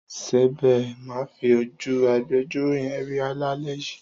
Sèbé máa fi ojú agbejọ́rò yẹn rí lálẹ́ yìí.